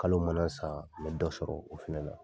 Kalo mana saa, me dɔ sɔrɔ o fɛnɛ la.